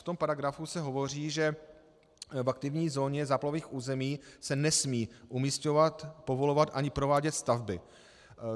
V tom paragrafu se hovoří, že v aktivní zóně záplavových území se nesmí umisťovat, povolovat ani provádět stavby.